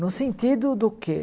No sentido do quê?